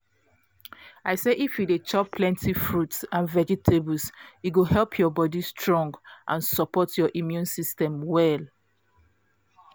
i say if you dey chop plenty fruits and vegetables e go help your body strong and support your immune system well